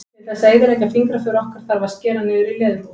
Til þess að eyðileggja fingraför okkar þarf að skera niður í leðurhúð.